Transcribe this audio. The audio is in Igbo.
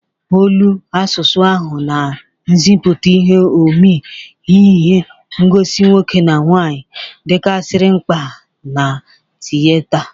Olu, asụsụ ahụ na nzịpụta ihu omee ihi ngosi nwoke na nwaanyị dịkarịsị mkpa na tiyeta.